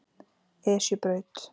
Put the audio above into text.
Esjubraut